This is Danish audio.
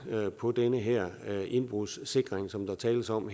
på den her indbrudssikring som der tales om